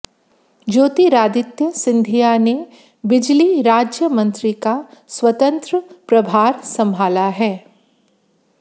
ज्योतिरादित्य सिंधिया ने बिजली राज्य मंत्री का स्वतंत्र प्रभार सम्भाला है